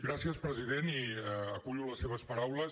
gràcies president i acullo les seves paraules